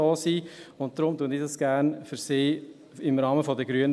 Deshalb vertrete ich das gerne für sie, im Rahmen der Grünen.